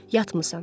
Yatmısan.